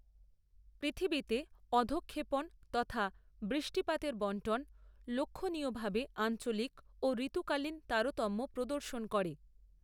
পৃথিবীতে অধঃক্ষেপন তথা বৃষ্টিপাতের বন্টন লক্ষনীয়ভাবে আঞ্চলিক ও ঋতুকালীন তারতম্য প্রদর্শন করে।